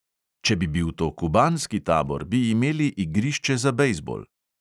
"Če bi bil to kubanski tabor, bi imeli igrišče za bejzbol."